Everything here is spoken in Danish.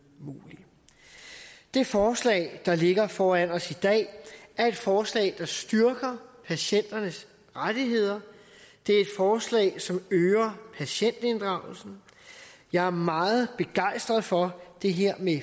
muligt det forslag der ligger foran os i dag er et forslag der styrker patienternes rettigheder det er et forslag som øger patientinddragelsen jeg er meget begejstret for det her med